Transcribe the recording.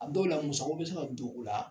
A dɔw la, muso ko bɛ se ka don o la.